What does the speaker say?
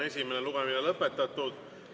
Esimene lugemine on lõpetatud.